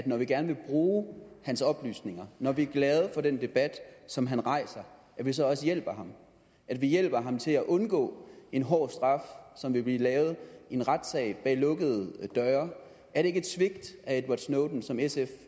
når vi gerne vil bruge hans oplysninger når vi er glade for den debat som han rejser at vi så også hjælper ham at vi hjælper ham til at undgå en hård straf som vil blive givet i en retssal bag lukkede døre er det ikke et svigt af edward snowden som sf